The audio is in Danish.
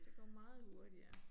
Det går meget hurtigere